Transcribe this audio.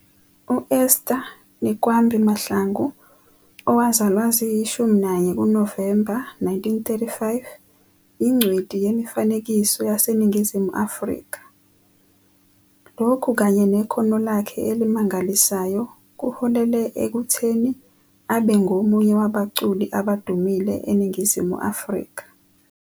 uEsther Nikwambi Mahlangu, owazalwa zi-11 kuNovemba 1935, ingcweti yemifanekiso yaseNingizimu Afrika. Lokhu kanye nekhono lakhe elimangalisayo kuholele ekutheni abe ngomunye wabaculi abadumile eNingizimu Afrika